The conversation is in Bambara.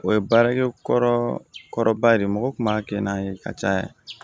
O ye baarakɛ kɔrɔba de ye mɔgɔ tun b'a kɛ n'a ye ka caya